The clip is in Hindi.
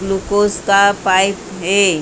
ग्लूकोस का पाइप हैं ।